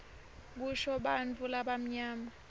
kusho bantfu labamnyama